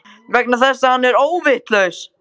Vegna þess að hann er óvitlaus.